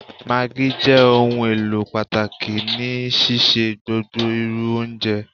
Maggi jẹ ohunelo pataki ni sise gbogbo iru ounjẹ.